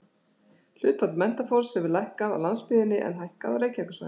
Hlutfall menntafólks hefur lækkað á landsbyggðinni en hækkað á Reykjavíkursvæðinu.